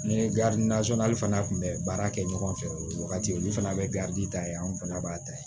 Ni fana tun bɛ baara kɛ ɲɔgɔn fɛ o wagati olu fana bɛ ta ye an fana b'a ta ye